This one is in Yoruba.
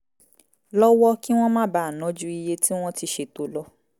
lọ́wọ́ kí wọ́n má bàa ná ju iye tí wọ́n ti ṣètò lọ